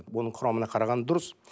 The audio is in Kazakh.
оның құрамына қараған дұрыс